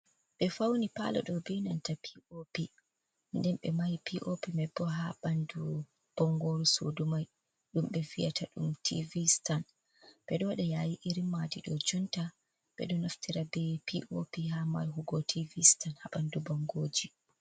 Be fauni Paalo đoh beh nanta P.O.P, nden 6e mahi P.O.P mai bo ha 6andu bongooru suudu mai đum 6e viyata đum Tiivi Stan, 6eđo wađa yaayi iri maaji đo jonta 6edo naftira beh P.O.P ha mahugo Tiivi Stan ha 6andu bongooji.